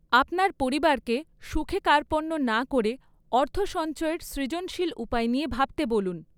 আপনার পরিবারকে সুখে কার্পণ্য না করে অর্থ সঞ্চয়ের সৃজনশীল উপায় নিয়ে ভাবতে বলুন।